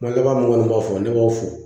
Kuma laban minnu kɔni b'a fɔ ne b'a fo